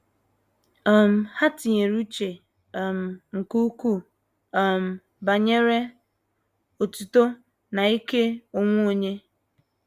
um Ha tinyere uche um nke ukwuu um banyere otuto na ike onwe onye.